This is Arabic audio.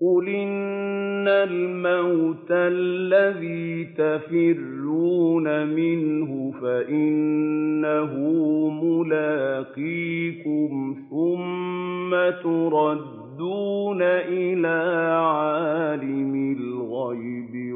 قُلْ إِنَّ الْمَوْتَ الَّذِي تَفِرُّونَ مِنْهُ فَإِنَّهُ مُلَاقِيكُمْ ۖ ثُمَّ تُرَدُّونَ إِلَىٰ عَالِمِ الْغَيْبِ